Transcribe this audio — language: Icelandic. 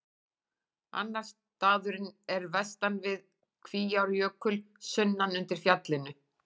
Annar staðurinn er vestan við Kvíárjökul, sunnan undir fjallinu.